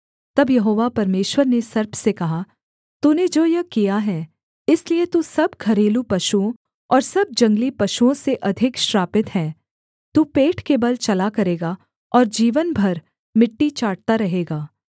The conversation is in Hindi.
तब यहोवा परमेश्वर ने सर्प से कहा तूने जो यह किया है इसलिए तू सब घरेलू पशुओं और सब जंगली पशुओं से अधिक श्रापित है तू पेट के बल चला करेगा और जीवन भर मिट्टी चाटता रहेगा